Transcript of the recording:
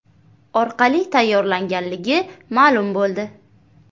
orqali tayyorlanganligi ma’lum bo‘ldi.